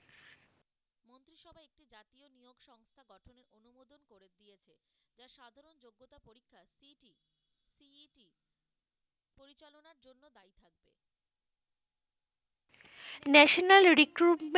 national recruitment,